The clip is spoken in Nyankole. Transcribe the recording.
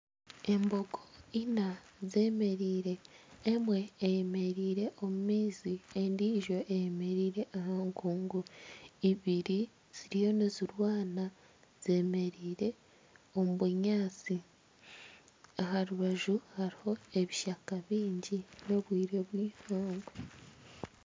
Embogo ina zemereire. Emwe eyemereire omu maizi endiijo eyemereire aha nkungu. Ibiri ziriyo nizirwana zemereire omu bunyaatsi, Aharubaju hariho ebishaka bingi n'obwire bw'eihangwe.